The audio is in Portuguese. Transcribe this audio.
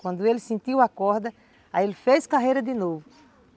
Quando ele sentiu a corda, aí ele fez carreira de novo.